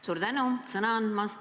Suur tänu sõna andmast!